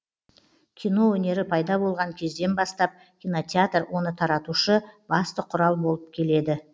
кино өнері пайда болған кезден бастап кинотеатр оны таратушы басты құрал болып келеді